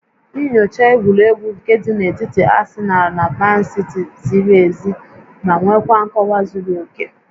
Nyochaa egwuregwu nke dị n'etiti Asịnal na Mansiti ziri ezi ma nwekwaa nkọwa zuru oke